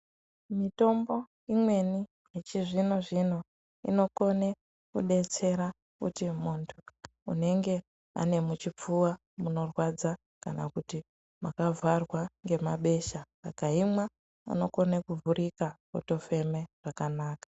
Mitombo imweni yechizvinozvino inokone kudetsera kuti muntu unenge ane muchipfuwa munorwadza kana kuti mwakavharwa ngemabesha akaimwa unokone kuvhurika otofeme zvakanaka.